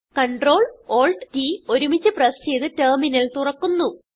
Ctrl Alt T ഒരുമിച്ച് press ചെയ്ത് terminal തുറക്കുന്നു